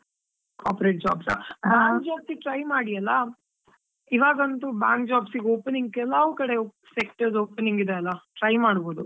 Corporate jobs ಆ, bank jobs ಗ್ try ಮಾಡಿಯಲ್ಲಾ, ಇವಾಗಂತೂ bank jobs ಇಗೆ ಕೆಲವ್ ಕಡೆ sectors opening ಇದೆ ಅಲಾ, try ಮಾಡ್ಬೋದು.